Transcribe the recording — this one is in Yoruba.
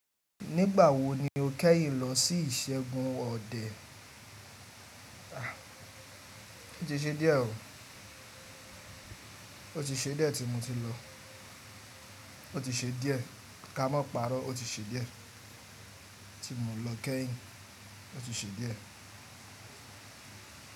Nígbà wo ni o kẹ́yìn lọ sí ìṣẹ́gun ọdẹ? O ti ṣe díẹ̀ o. O ti ṣe díẹ̀ tí mo ti lọ. O ti ṣe díẹ̀. Ka mọ́ pàrọ́, o ti ṣe díẹ̀ tí mo lọ kẹ́yìn. O ti ṣe díẹ̀